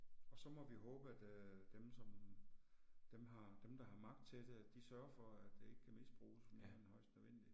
Og så må vi håbe at øh dem som, dem har, dem der har magt til det, de sørger for at det ikke misbruges mere end højst nødvendigt